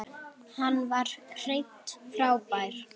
Hann var hreint frábær.